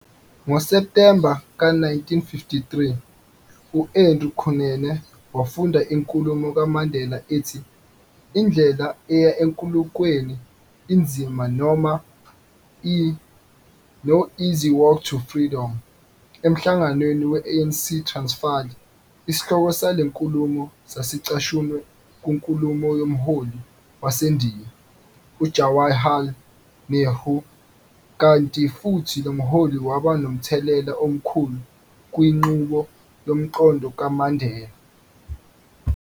NgoSeptemba ka 1953, u-Andrew Kunene wafunda inkulumo kaMandela ethi, Indlela eya enkululekweni inzima noma i- "No Easy Walk to Freedom" emhlanganweni we-ANC eTransfali, isihloko sale nkulumo sasicashunwe kunkulumo yomholo waseNdiya, u-Jawaharlal Nehru, kanti futhi lomholi waba nomthelela omkhulu kwinqubo yomqondo kaMandela.